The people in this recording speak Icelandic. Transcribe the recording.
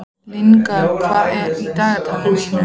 Lyngar, hvað er á dagatalinu í dag?